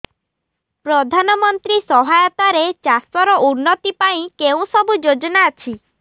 ପ୍ରଧାନମନ୍ତ୍ରୀ ସହାୟତା ରେ ଚାଷ ର ଉନ୍ନତି ପାଇଁ କେଉଁ ସବୁ ଯୋଜନା ଅଛି